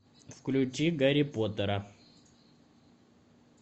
включи гарри поттера